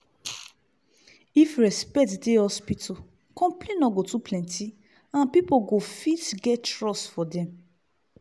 if respect dey hospital complain no go too plenty and pipu go fit get trust for dem.